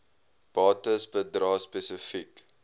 bates bedrae spesifiek